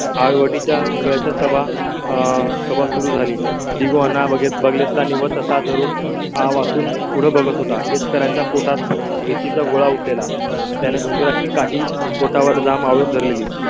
हनुवटी च्या घरा चा ताबा आह सभा सुरू झाली दिवाना बघितला निवसा धरून. आ वासून पुढे बघत होता. एकरांचा पोटात भीती चा गोळा उठलेला. त्याने घुंगराची काठी पोटावर जा म्हणून धरलेली